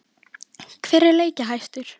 Hver er leikjahæstur?